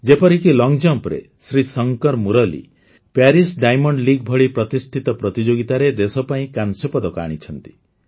ଯେପରିକି ଲଙ୍ଗ୍ ଜମ୍ପ୍ରେ Sree Shankar Murali Paris Diamond League ଭଳି ପ୍ରତିଷ୍ଠିତ ପ୍ରତିଯୋଗିତାରେ ଦେଶ ପାଇଁ କାଂସ୍ୟ ପଦକ ଆଣିଛନ୍ତି